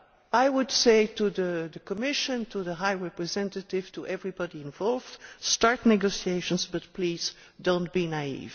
I would say to the Commission, to the High Representative, to everybody involved start negotiations, but please do not be naïve.